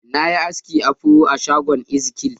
Na yi aski afro a shagon Ezikiel.